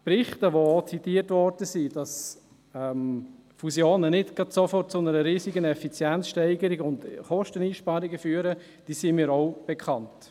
Berichte, die zitiert wurden, wonach Fusionen nicht gerade sofort zu einer riesigen Effizienzsteigerung und Kosteneinsparungen führen, sind mir auch bekannt.